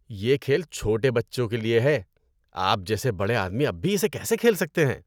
یہ کھیل چھوٹے بچوں کے لیے ہے۔ آپ جیسے بڑے آدمی اب بھی اسے کیسے کھیل سکتے ہیں؟